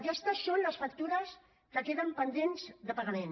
aquestes són les factures que queden pendents de pagament